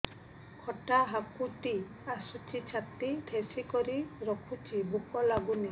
ଖଟା ହାକୁଟି ଆସୁଛି ଛାତି ଠେସିକରି ରଖୁଛି ଭୁକ ଲାଗୁନି